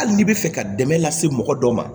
Hali n'i bɛ fɛ ka dɛmɛ lase mɔgɔ dɔ ma